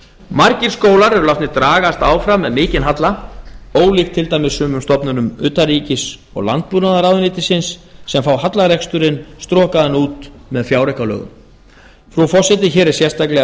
margir skólar eru látnir dragast áfram með mikinn halla ólíkt til dæmis sumum stofnunum utanríkis og landbúnaðarráðuneytisins sem fá hallareksturinn strokaðan út með fjáraukalögum frú forseti hér er sérstaklega